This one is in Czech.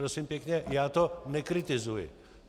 Prosím pěkně, já to nekritizuji.